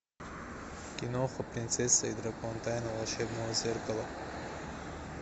киноха принцесса и дракон тайна волшебного зеркала